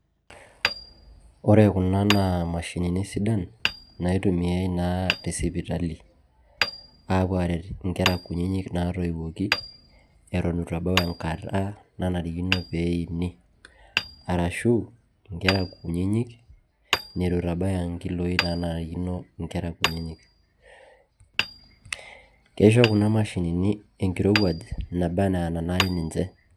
Ore kuna naa mashinini sidan naitumiai naa te sipitali aapuo aaret nkera kunyinyik naatoiwuoki neton itu ebau enkata nanarikino peeini arashu nkera kunyinyik nitu itabaya nkiloi naanarikino nkera kunyinyik. Kisho kuna mashinini enkirowuaj naba ena enanare ninje.